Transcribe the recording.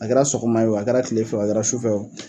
A kɛra sɔgɔma ye,a kɛra tilefɛ, a kɛra sufɛ wo